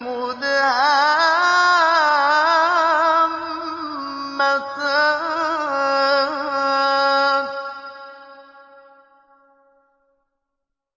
مُدْهَامَّتَانِ